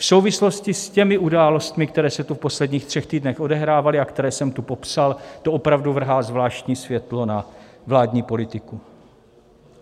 V souvislosti s těmi událostmi, které se tu v posledních třech týdnech odehrávaly a které jsem tu popsal, to opravdu vrhá zvláštní světlo na vládní politiku.